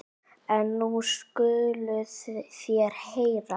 En nú skuluð þér heyra.